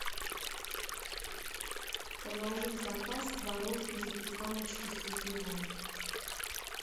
положи в заказ творожной запеканочки с изюмом